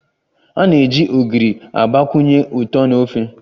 A na-eji Ogiri agbakwunye ụtọ na ofe